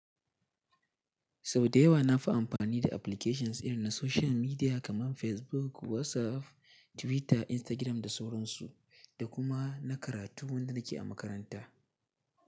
Sau da yawa na fi amfani da applications irin na social media kamar Facebook, WhatsApp, Twitter, Instagram da sauran su da kuma na karatu wanda nake a makaranta.